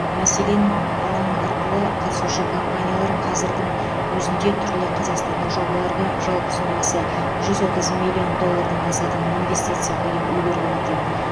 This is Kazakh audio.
мәселен алаңы арқылы қатысушы компаниялар қазірдің өзінде түрлі қазақстандық жобаларға жалпы сомасы жүз отыз миллион доллардан асатын инвестиция құйып үлгерген екен